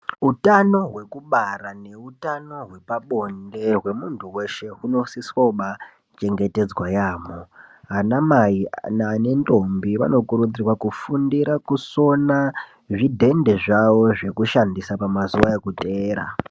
Utano hwekubara neutano hwepabonde hwemuntu weshe hunosiswa kubachengetedzwa yaamho, ana Mai ane ndombi vanokurudzirwa kufundira kusona zvidhende zvawo zvekushandisa pamazuwa ekuteera